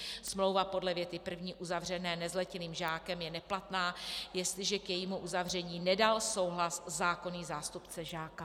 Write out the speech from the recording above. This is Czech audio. Smlouva podle věty první uzavřená nezletilým žákem je neplatná, jestliže k jejímu uzavření nedal souhlas zákonný zástupce žáka.